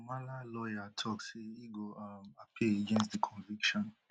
humala lawyer tok say e go um appeal against di conviction